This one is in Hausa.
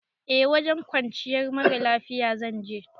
Eh wajen kwanciyar mara lafiya zan je